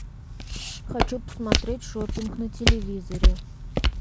хочу посмотреть шопинг на телевизоре